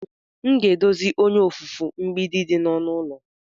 M ga-edozi onye ofufe mgbidi dị na ọnụ ụlọ.